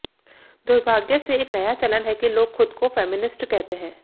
दुर्भाग्य से एक नया चलन है कि लोग खुद को फेमिनिस्ट कहते हैं